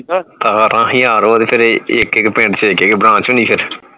ਓਹਦੇ ਫੇਰ ਇਕ ਇਕ ਪਿੰਡ ਚ ਇਕ ਇਕ branch ਨੀ ਫੇਰ